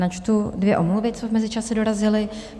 Načtu dvě omluvy, co v mezičase dorazily.